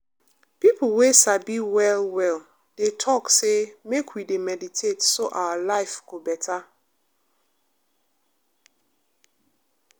people wey sabi well-well dey talk say make we dey meditate so our life go better.